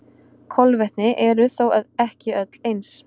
Kolvetni eru þó ekki öll eins.